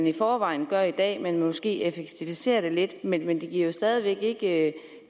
i forvejen gør i dag men måske effektiviserer det lidt men men det giver jo stadig væk ikke